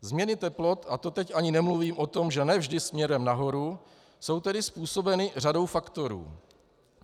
Změny teplot, a to teď ani nemluvím o tom, že ne vždy směrem nahoru, jsou tedy způsobeny řadou faktorů.